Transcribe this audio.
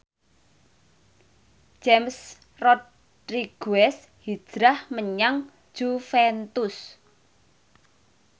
James Rodriguez hijrah menyang Juventus